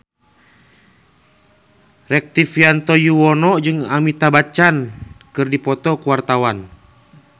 Rektivianto Yoewono jeung Amitabh Bachchan keur dipoto ku wartawan